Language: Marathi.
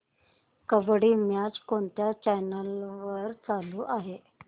कबड्डी मॅच कोणत्या चॅनल वर चालू आहे